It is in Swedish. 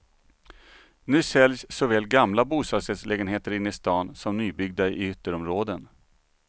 Nu säljs såväl gamla bostadsrättslägenheter inne i stan, som nybyggda i ytterområden.